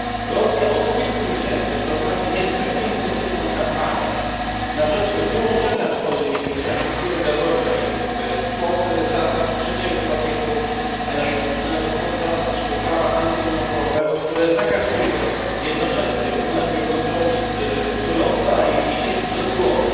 Rosja od kilku miesięcy prowadzi niezwykle intensywną kampanię na rzecz wyłączenia swojej infrastruktury gazowej spod zasad trzeciego pakietu energetycznego, spod zasad naszego prawa antymonopolowego, które zakazuje jednoczesnej, równoległej kontroli surowca i sieci przesyłowych.